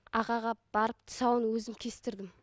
ағаға барып тұсауын өзім кестірдім